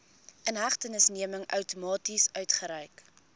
inhegtenisneming outomaties uitgereik